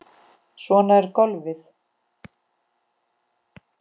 Svona er golfið.